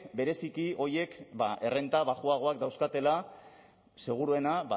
bereziki horiek errenta baxuagoak dauzkatela seguruena